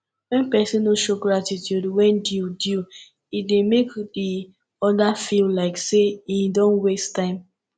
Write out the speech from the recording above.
when persin no show gratitude when due due e de make di other feel like say im don waste time